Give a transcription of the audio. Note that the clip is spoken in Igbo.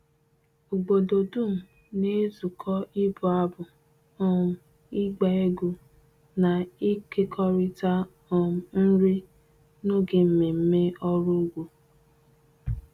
Obodo dum na-ezukọ ịbụ abụ, um ịgba egwu, na ịkekọrịta um nri n'oge mmemme ọrụ ugbo.